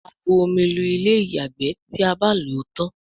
a bù omí Lu Ilé-ìyàgbé tí a bá ló tán.